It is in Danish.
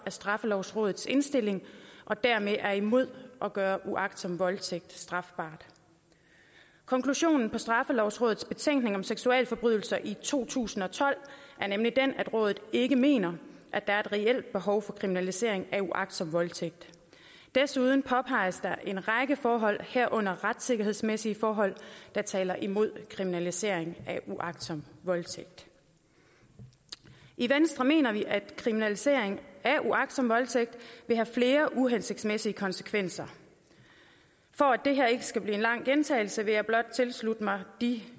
straffelovrådets indstilling og dermed er imod at gøre uagtsom voldtægt strafbar konklusionen på straffelovrådets betænkning om seksualforbrydelser i to tusind og tolv er nemlig den at rådet ikke mener at der er et reelt behov for kriminalisering af uagtsom voldtægt desuden påpeges der en række forhold herunder retssikkerhedsmæssige forhold der taler imod kriminalisering af uagtsom voldtægt i venstre mener vi at kriminalisering af uagtsom voldtægt vil have flere uhensigtsmæssige konsekvenser for at det her ikke skal blive en lang gentagelse vil jeg blot tilslutte mig de